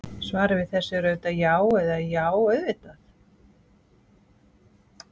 Svarið við þessu er auðvitað já eða: já, auðvitað!